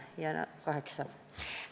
Kaheksa rahvasaadikut.